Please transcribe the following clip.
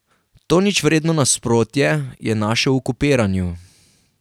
To ničvredno nasprotje je našel v kopiranju.